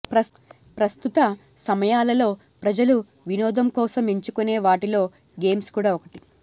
ప్రస్తుత సమయాలలో ప్రజలు వినోదం కోసం ఎంచుకునే వాటిలో గేమ్స్ కూడా ఒకటి